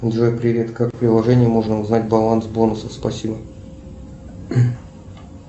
джой привет как в приложении можно узнать баланс бонусов спасибо